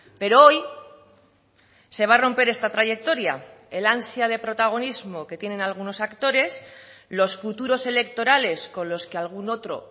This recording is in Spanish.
pero hoy se va a romper esta trayectoria el ansia de protagonismo que tienen algunos actores los futuros electorales con los que algún otro